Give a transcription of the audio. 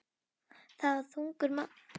Það var ungur maður sem keyrði fólksbílinn.